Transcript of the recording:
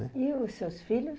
né. E os seus filhos?